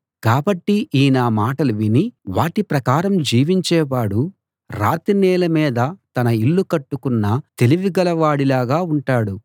కాబట్టి ఈ నా మాటలు విని వాటి ప్రకారం జీవించేవాడు రాతి నేల మీద తన ఇల్లు కట్టుకున్న తెలివిగల వాడిలాగా ఉంటాడు